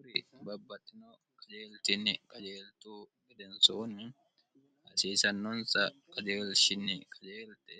uri babbaxittino qajeeltinni qajeeltu gedensuunni hasiisannonsa qajeelshinni kajeelte